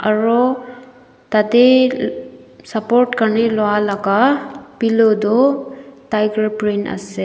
aro tatey support Karnae loilaga pillow toh tiger brand ase.